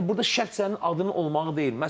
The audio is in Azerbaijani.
Yəni burda şərt sənin adının olmağı deyil.